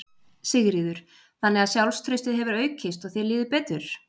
Sigríður: Þannig að sjálfstraustið hefur aukist og þér líður betur?